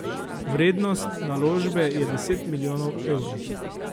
Vrednost naložbe je deset milijonov evrov.